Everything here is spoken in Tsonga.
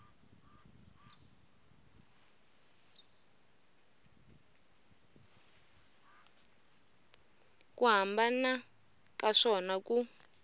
ku hambana ka swona ku